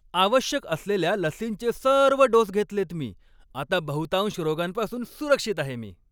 आवश्यक असलेल्या लसींचे सर्व डोस घेतलेत मी. आता बहुतांश रोगांपासून सुरक्षित आहे मी.